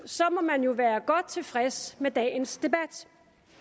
må man jo være godt tilfreds med dagens debat